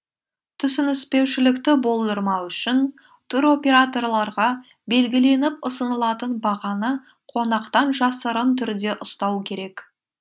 түсініспеушілікті болдырмау үшін туроператорларға белгіленіп ұсынылатын бағаны қонақтан жасырын түрде ұстау керек